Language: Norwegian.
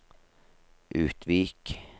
Utvik